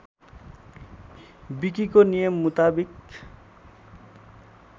विकीको नियम मुताबिक